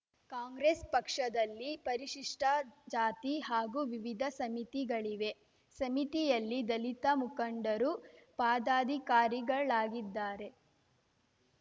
ಕಾಂಗ್ರೆಸ್‌ ಪಕ್ಷದಲ್ಲಿ ಪರಿಶಿಷ್ಟಜಾತಿ ಹಾಗೂ ವಿವಿಧ ಸಮಿತಿಗಳಿವೆ ಸಮಿತಿಯಲ್ಲಿ ದಲಿತ ಮುಖಂಡರು ಪಾದಾಧಿಕಾರಿಗಳಾಗಿದ್ದಾರೆ